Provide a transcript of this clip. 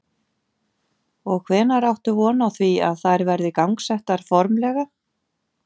Og hvenær áttu von á því að þær verði gangsettar formlega?